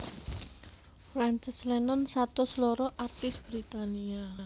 Frances Lennon satus loro artis Britania